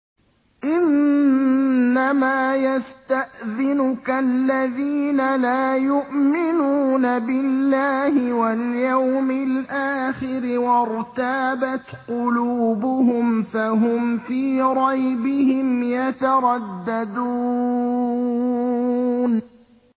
إِنَّمَا يَسْتَأْذِنُكَ الَّذِينَ لَا يُؤْمِنُونَ بِاللَّهِ وَالْيَوْمِ الْآخِرِ وَارْتَابَتْ قُلُوبُهُمْ فَهُمْ فِي رَيْبِهِمْ يَتَرَدَّدُونَ